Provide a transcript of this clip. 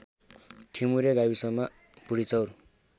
ठिमुरे गाविसमा बुढिचौर